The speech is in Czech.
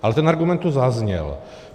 Ale ten argument tu zazněl.